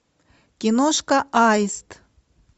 киношка аист